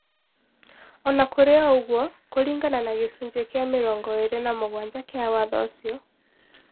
O na kũrĩ ũguo, kũringana na gĩcunjĩ kĩa mĩrongo ĩrĩ na mũgwanja kĩa Watho ũcio,